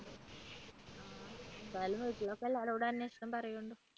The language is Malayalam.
എന്തായാലും വീട്ടിലൊക്കെ എല്ലാവരോടും അന്വേഷണം പറയൂണ്ടു.